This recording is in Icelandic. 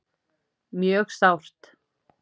Mjög sárt